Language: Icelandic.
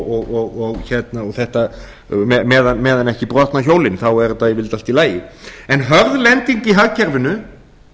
henni og meðan ekki brotna hjólin er þetta yfirleitt allt í lagi hörð lending í hagkerfinu